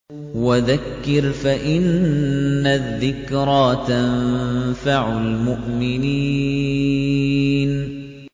وَذَكِّرْ فَإِنَّ الذِّكْرَىٰ تَنفَعُ الْمُؤْمِنِينَ